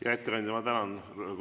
Hea ettekandja, ma tänan!